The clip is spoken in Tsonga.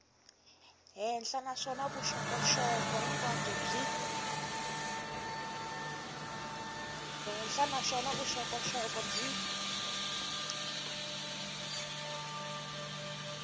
henhla naswona vuxokoxoko hinkwabyo byi